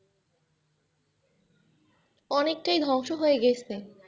অনেকটাই ধ্বংস হয়ে গেছে।